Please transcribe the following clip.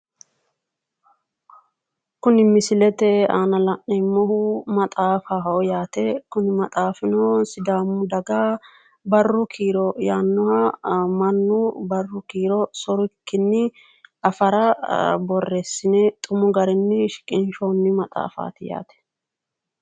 Kuni misilete aana la'neemmohu maaxaffaho sidaamu afiini barra yaanohuni mannu barra affara xumu garinni borreesine qixxeesinoniho yaate